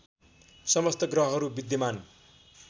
समस्त ग्रहहरू विद्यमान